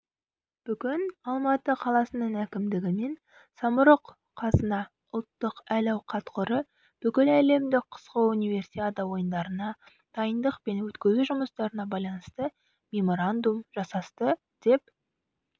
бүгін алматы қаласының әкімдігі мен самрұқ-қазына ұлттық әл-ауқат қоры бүкіләлемдік қысқы универсиада ойындарына дайындық пен өткізу жұмыстарына байланысты меморандум жасасты деп